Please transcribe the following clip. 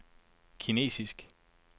kinesisk